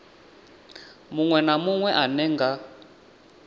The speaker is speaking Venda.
munwe na munwe ane nga